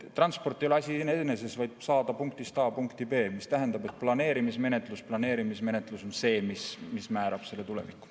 Transport ei ole asi iseeneses, on vaja saada punktist A punkti B. Mis tähendab, et planeerimismenetlus on see, mis määrab selle tuleviku.